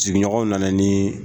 Sigiɲɔgɔn nana niii.